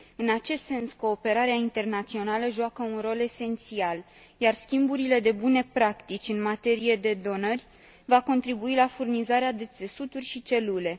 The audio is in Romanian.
În acest sens, cooperarea internațională joacă un rol esențial, iar schimburile de bune practici în materie de donări va contribui la furnizarea de țesuturi și celule.